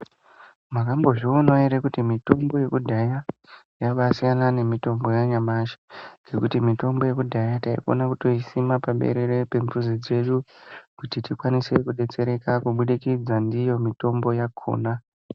Makambozvionajerw kuti mitombo yekudya yambaisiyana nemitombo yanyamashi nekuti mitombo yekudhaya tayikone kuyisima paberere yemuzi dzedu kuti tikwanise kudetsereka kubudikidza ndiyo mitombo yakona.